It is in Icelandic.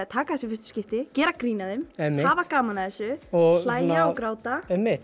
taka þessi fyrstu skipti gera grín að þeim hafa gaman af þessu hlæja og gráta einmitt